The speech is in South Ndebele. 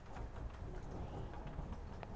wesayensi